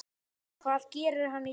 Hvað gerir hann í dag?